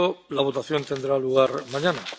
La votación tendrá lugar mañana.